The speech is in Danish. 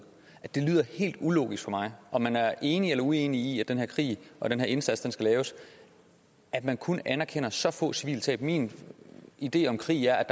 det lyder helt ulogisk for mig om man er enig eller uenig i at den her krig og den her indsats skal laves at man kun anerkender så få civile tab min idé om krig er at